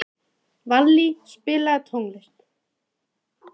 Vallý, spilaðu tónlist.